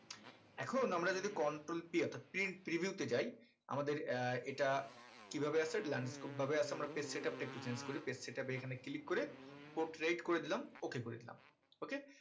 এখন আমরা যদি control p অর্থাৎ print preview তে যায় আমাদের আহ এটা কি ভাবে আছে landscape ভাবে আছে আমরা page setup টা একটু change করি page setup এ এখানে click করে portrait করে দিলাম ok করে দিলাম ok